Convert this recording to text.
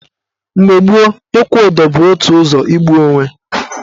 Mgbe gboo, ịkwụ ụdọ bụ otu ụzọ igbu onwe.